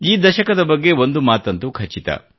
ಈ ದಶಕದ ಬಗ್ಗೆ ಒಂದು ಮಾತಂತೂ ಖಚಿತ